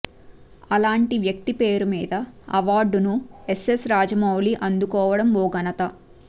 అలాంటి వ్యక్తి పేరు మీద అవార్డును ఎస్ఎస్ రాజమౌళి అందుకోవడం ఓ ఘనత